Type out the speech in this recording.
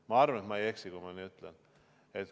Ma arvan, et ma ei eksi, kui ma nii ütlen.